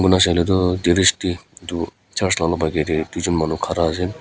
ena saile tu edu church la olop aage de duijun manu khara ase.